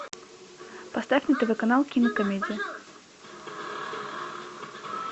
поставь на тв канал кинокомедия